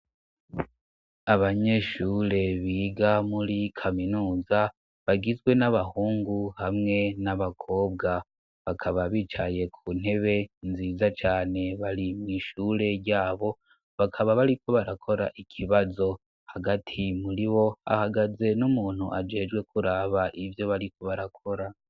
Abanyeshure biga muri kaminuza bagizwe n'abahungu hamwe n'abakobwa bakaba bicaye ku ntebe nziza cane bari mw'ishure yabo bakaba bariko barakora ikibazo hagati muri bo ahagaze n'umuntu ajejwe kuraa aba ivyo bariko barakora.